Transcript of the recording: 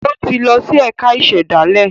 O tí lọ si ẹka ìsèdálè